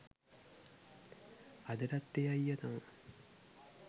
අදටත් ඒ අයිය තමා